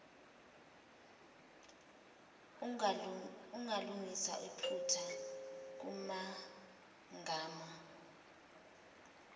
ungalungisa iphutha kumagama